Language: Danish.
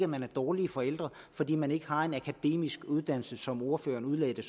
man er dårlige forældre fordi man ikke har en akademisk uddannelse sådan som ordføreren udlagde det